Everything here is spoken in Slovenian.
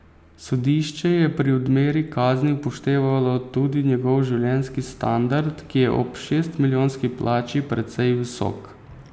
Sodišče je pri odmeri kazni upoštevalo tudi njegov življenjski standard, ki je ob šestmilijonski plači precej visok.